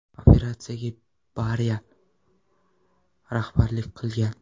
Operatsiyaga Beriya rahbarlik qilgan.